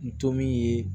N to min ye